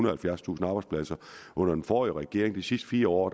og halvfjerdstusind arbejdspladser under den forrige regering i de sidste fire år